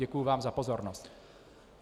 Děkuji vám za pozornost.